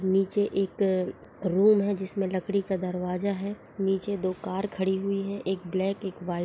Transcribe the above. नीचे एक रूम है जिसमें लकड़ी का दरवाजा है नीचे दो कार खड़ी हुई है एक ब्लैक एक वाइट --